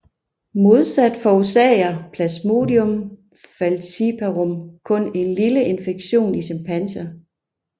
Modsat forårsager Plasmodium falciparum kun en lille infektion i chimpanser